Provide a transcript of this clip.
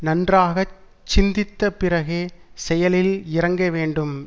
நன்றாக சிந்தித்த பிறகே செயலில் இறங்க வேண்டும்